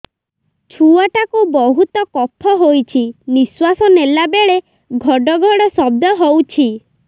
ଛୁଆ ଟା କୁ ବହୁତ କଫ ହୋଇଛି ନିଶ୍ୱାସ ନେଲା ବେଳେ ଘଡ ଘଡ ଶବ୍ଦ ହଉଛି